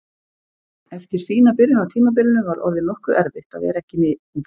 Eftir fína byrjun á tímabilinu var orðið nokkuð erfitt að vera ekki að spila mikið.